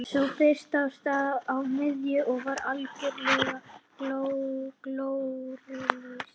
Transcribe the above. Sú fyrsta á sér stað á miðjunni og var algerlega glórulaus.